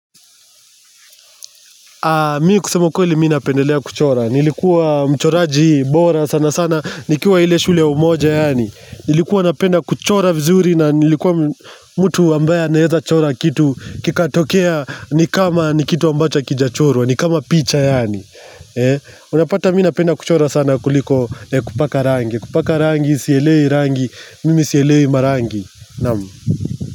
Mi kusema ukweli mi napendelea kuchora, nilikuwa mchoraji bora sana sana, nikiwa ile shule ya umoja yaani, nilikuwa napenda kuchora vizuri na nilikuwa mtu ambaye anaeza chora kitu kikatokea ni kama ni kitu ambacho hakijachorwa, ni kama picha yaani, eh, unapata mi napenda kuchora sana kuliko kupaka rangi, kupaka rangi, sielewi rangi, mimi sielewi marangi, naam.